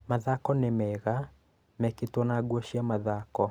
mathako nĩ mega mekĩtwo na nguo cia mathako.